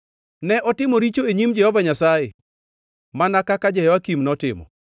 Ne otimo richo e nyim Jehova Nyasaye, mana kaka Jehoyakim notimo.